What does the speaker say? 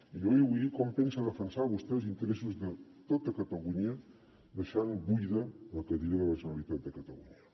i jo li vull dir com pensa defensar vostè els interessos de tota catalunya deixant buida la cadira de la generalitat de catalunya